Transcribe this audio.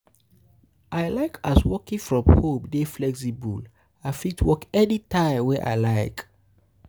I like as working from home dey flexible, I fit work anytime wey I like.